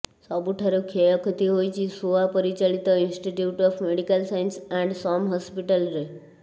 ସବୁଠାରୁ କ୍ଷୟକ୍ଷତି ହୋଇଛି ସୋଆ ପରିଚାଳିତ institute of medical science and SUM ହସ୍ପିଟାଲ୍ରେ